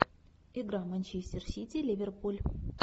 игра манчестер сити ливерпуль